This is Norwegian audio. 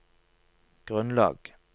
grunnlag